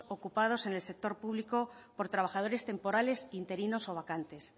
ocupados en el sector público por trabajadores temporales interinos o vacantes